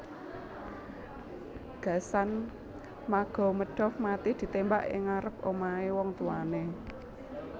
Gasan Magomedov mati ditémbak ing ngarep omahé wong tuwané